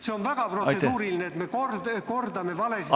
See on väga protseduuriline, et me kordame valesid.